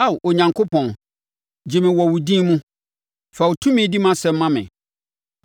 Ao Onyankopɔn, gye me wɔ wo din mu; fa wo tumi di mʼasɛm ma me.